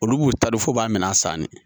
Olu b'u ta don f'u b'a minɛ a sanni